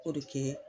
K'o de kɛ